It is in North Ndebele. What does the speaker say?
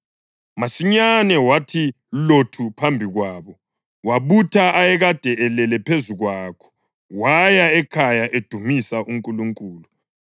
Masinyane wathi lothu phambi kwabo, wabutha ayekade elele phezu kwakho waya ekhaya edumisa uNkulunkulu.